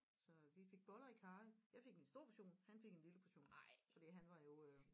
Så vi fik boller i karry jeg fik en stor portion han fik en lille portion fordi han var jo øh